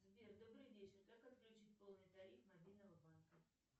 сбер добрый вечер как отключить полный тариф мобильного банка